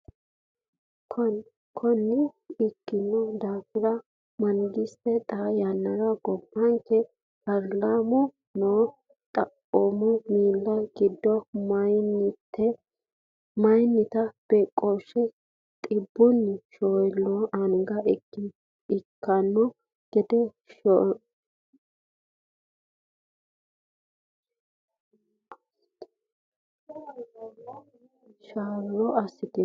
Konne ikkino daafono, mangiste xaa yannara gobbanke paarlaamira noo- xaphooma miilla giddo meyaate beeqqooshshi xibbunni shoollaa anga ikkanno gede sharro assitanni.